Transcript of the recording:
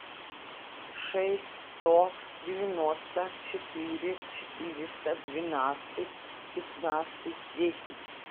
шесть сто девяносто четыре четыреста двенадцать пятнадцать десять